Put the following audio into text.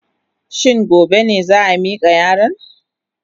Shin gobe ne za a mika yaron?